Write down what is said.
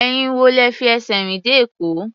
Ẹ̀yin wo lẹ fi ẹsẹ̀ rìn dé Èkó?